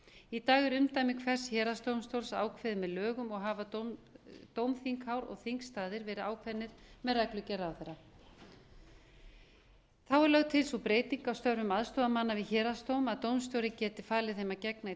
í dag er umdæmi hvers héraðsdómstóls ákveðið með lögum og hafa dómþinghár og þingstaðir verið ákveðnir með reglugerð ráðherra þá er lögð til sú breyting á störfum aðstoðarmanna við héraðsdóm að dómstjóri geti falið þeim að gegna í